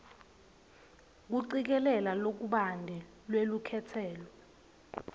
kucikelela lokubanti lwelukhetselo